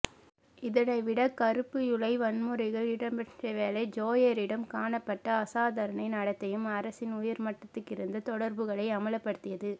இதனை விட கறுப்பு யூலை வன்முறைகள் இடம்பெற்றவேளை ஜேயாரிடம் காணப்பட்ட அசாதாரண நடத்தையும் அரசின் உயர்மட்டத்துகிருந்த தொடர்புகளை அம்பலப்படுத்தியது